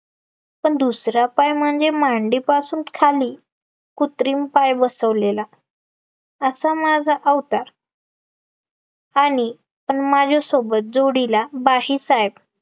पण दुसरा पाय म्हणजे, मांडीपासून खाली कुत्रिम पाय बसवलेला, असा माझा अवतार आणि पण माझ्यासोबत जोडीला बाहिसाहेब